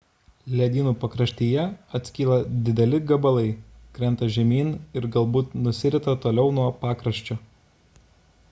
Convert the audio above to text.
ledynų pakraštyje atskyla dideli gabalai krenta žemyn ir galbūt nusirita toliau nuo pakraščio